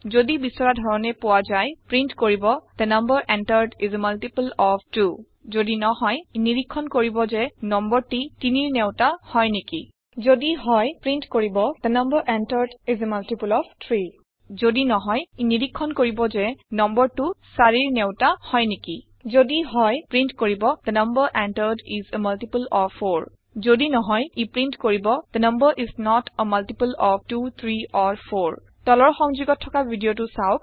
যদি বিচৰা ধৰণে পোৱা যায় প্ৰীন্ট কৰিব the number entered is a multiple of 2 যদি নহয় ই নিৰীক্ষণ কৰিব যে নম্বৰটি ৩ৰ নেউটা হয় নেকি যদি হয় প্ৰীন্ট কৰিব the number entered is a multiple of 3 যদি নহয় ই নিৰীক্ষণ কৰিব যে নম্বৰটি ৪ৰ নেউটা হয় নেকি যদি হয় প্ৰীন্ট কৰিব the number entered is a multiple of 4 যদি নহয় ই প্ৰীন্ট কৰিব the number is not a multiple of 2 3 or 4 তলৰ সংযোগত থকা ভিদিয়তো চাওক